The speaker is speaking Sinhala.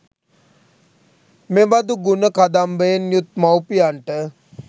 මෙබඳු ගුණ කදම්බයෙන් යුත් මව්පියන්ට